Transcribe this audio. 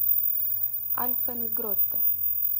альпен гротте